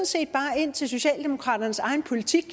set bare ind til socialdemokraternes egen politik